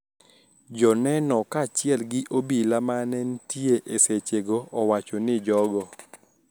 Joneno kaachiel gi obila ma ne nitie e sechego owacho ni jogo,